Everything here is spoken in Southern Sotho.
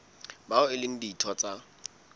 bao e leng ditho tsa